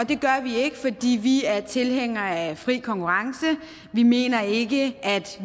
det gør vi ikke fordi vi er tilhængere af fri konkurrence vi mener ikke at